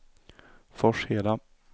Forsheda